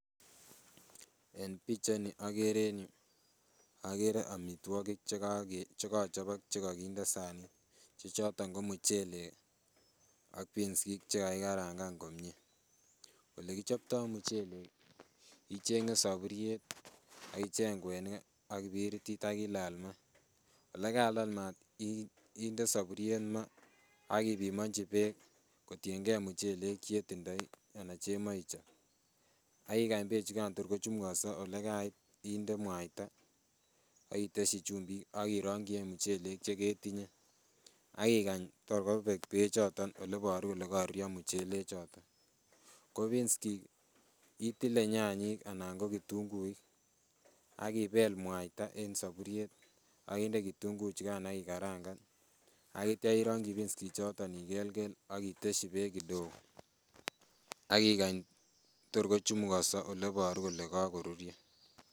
En pichait ni okere en yu okere amitwogik chekochobok chekokinde sanit che choton ko muchelek ak peansik chekakikarangan komie. Olekichoptoo muchelek ih icheng'e soburiet ak icheng kwenik ak kibiritit ak ilal maat. Olekalal maat inde soburiet maa ak ipimonji beek kotiengei muchelek chetindoi anan chemoe ichob ak ikany beek chuton tor ko chumukonso olekait inde mwaita ak itesyi chumbik ak irongyi any muchelek cheketinye ak ikany tor kobek beek choton oleboru kole koruryo muchelek choton. Ko peanskik itile nyanyik anan ko kitunguik ak ibel mwaita en soburiet ak inde kitunguik chukan ak ikarangan ak itya irongyi peanskik choton ikelkel ak itesyi beek kidogo ak ikany tor kochumukonso oleboru kole kakoruryo.